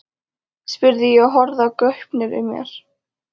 spurði ég og horfði í gaupnir mér.